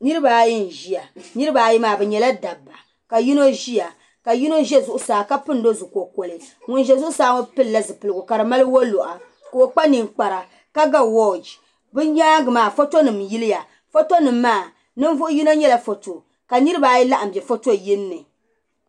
Niraba ayi n ʒiya bi nyɛla dabba ka yino ʒiya ka yino ʒɛya ŋun ʒɛ zuɣusaa ŋo pilila zuɣu kolikoli ka di mali woliɣa ka o kpa ninkpara ka ga wooch bi nyaangi maa foto nim yiliya foto nim maa ninvuɣu yino nyɛla foto ka niraba ayilaɣam bɛ foto yinni